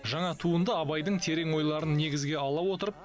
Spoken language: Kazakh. жаңа туынды абайдың терең ойларын негізге ала отырып